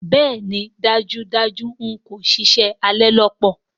Bẹẹni dajudaju n ko ṣiṣẹ, a le lọ papọ̀.